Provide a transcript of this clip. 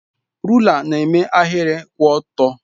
Rụ́la na-eme ahịrị kwụ ọtọ